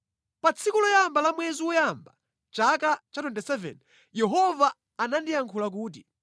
Pa tsiku loyamba la mwezi woyamba, chaka cha 27, Yehova anandiyankhula kuti: